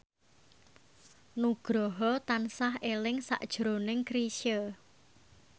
Nugroho tansah eling sakjroning Chrisye